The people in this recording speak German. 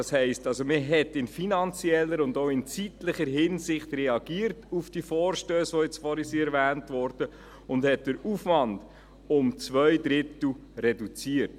Das heisst also: Man hat in finanzieller und auch in zeitlicher Hinsicht auf die vorhin erwähnten Vorstösse reagiert und hat den Aufwand um zwei Drittel reduziert.